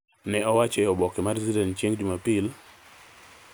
ne owacho oboke mar Citizen chieng’ Jumapil.